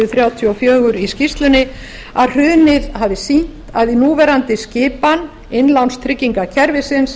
þrjátíu og fjögur í skýrslunni að hrunið hafi sýnt að í núverandi skipan innlánstryggingakerfisins